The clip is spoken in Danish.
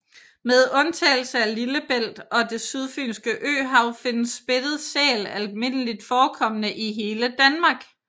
Med undtagelse af Lillebælt og Det Sydfynske Øhav findes spættet sæl almindeligt forekommende i hele Danmark